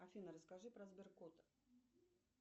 афина расскажи про сберкот